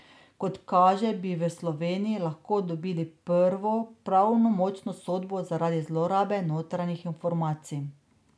Kot kaže, bi v Sloveniji lahko dobili prvo pravnomočno sodbo zaradi zlorabe notranjih informacij.